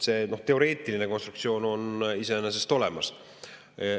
See teoreetiline konstruktsioon on iseenesest olemas.